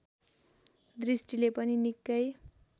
दृष्टिले पनि निकै